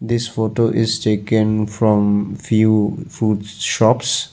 this photo is taken from few fruit shops.